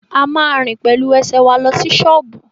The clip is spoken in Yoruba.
A ma rìn pẹ̀lú ẹsẹ̀ wa lọ sí ṣọ́ọ̀bú